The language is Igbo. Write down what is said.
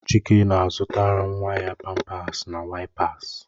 Chike na-azụtala nwa ya pampasi na waìps